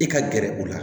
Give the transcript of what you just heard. I ka gɛrɛ u la